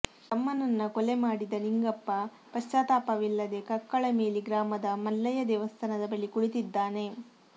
ತಮ್ಮನನ್ನ ಕೊಲೆ ಮಾಡಿದ ನಿಂಗಪ್ಪ ಪ್ರಶ್ಚಾತಾಪವಿಲ್ಲದೆ ಕಕ್ಕಳಮೇಲಿ ಗ್ರಾಮದ ಮಲ್ಲಯ್ಯ ದೇವಸ್ಥಾನದ ಬಳಿ ಕುಳಿತಿದ್ದಾನೆ